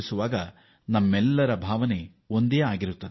ಇಲ್ಲಿ ನಮ್ಮೆಲ್ಲರ ಭಾವನೆ ಒಂದೇ ಆಗಿದೆ